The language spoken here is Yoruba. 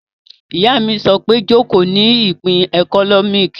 Ìyá mi sọ pé 'Jòkó ní ìpín ẹkọ́nọ́mì'